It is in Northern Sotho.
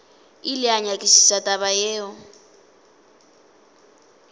ile a nyakišiša taba yeo